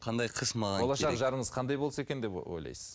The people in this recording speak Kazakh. болашақ жарыңыз қандай болса екен деп ойлайсыз